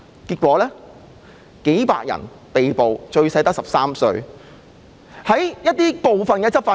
結果，數百人被捕，最小的只有13歲。